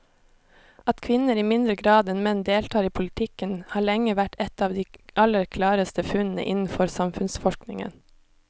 At kvinner i mindre grad enn menn deltar i politikken har lenge vært et av de aller klareste funnene innenfor samfunnsforskningen.